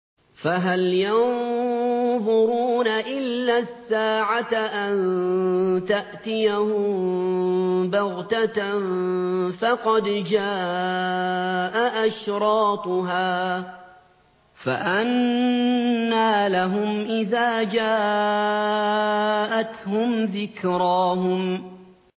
فَهَلْ يَنظُرُونَ إِلَّا السَّاعَةَ أَن تَأْتِيَهُم بَغْتَةً ۖ فَقَدْ جَاءَ أَشْرَاطُهَا ۚ فَأَنَّىٰ لَهُمْ إِذَا جَاءَتْهُمْ ذِكْرَاهُمْ